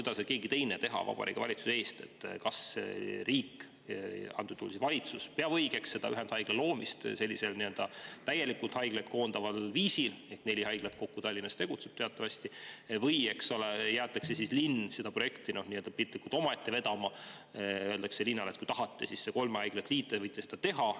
Aga keegi ei saa Vabariigi Valitsuse eest teha printsipiaalset otsust, kas riik, praegusel juhul valitsus, peab õigeks ühendhaigla loomist sellisel täielikult haiglaid koondaval viisil – teatavasti Tallinnas tegutseb kokku neli haiglat – või jäetakse linn seda projekti piltlikult öeldes omaette vedama ja öeldakse linnale: "Kui tahate, siis kolme haigla liidu võite teha.